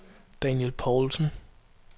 Daniel Paulsen